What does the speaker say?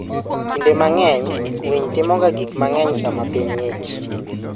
Kinde mang'eny, winy timoga gik mang'eny sama piny ng'ich.